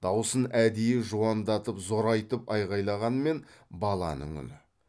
даусын әдейі жуандатып зорайтып айғайлағанмен баланың үні